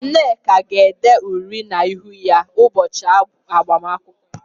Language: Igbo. Nneka ga-ede uri na -ihu ya ụbọchị agbamakwụkwọ ya.